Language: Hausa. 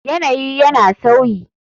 Yanayi yana sauyi.